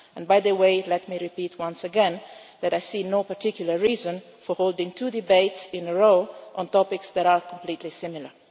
By the way, let me repeat once again that I see no particular reason for holding two debates in a row on topics that are completely similar.